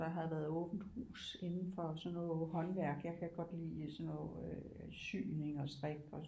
Der har været åbent hus indenfor sådan noget håndværk jeg kan godt lide sådan noget syning og strik